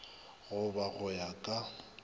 go ba go ya ka